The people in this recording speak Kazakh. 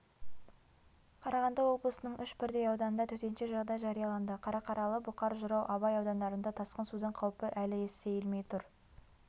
қарағанды облысының үш бірдей ауданында төтенше жағдай жарияланды қарқаралы бұқар жырау абай аудандарында тасқын судың қаупі әлі сейілмей тұр